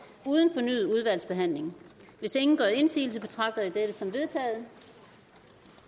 uden fornyet udvalgsbehandling hvis ingen gør indsigelse betragter jeg dette som vedtaget